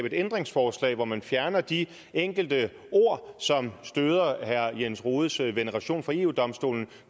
et ændringsforslag hvor man fjerner de enkelte ord som støder herre jens rohdes veneration for eu domstolen